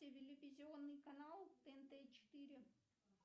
телевизионный канал тнт четыре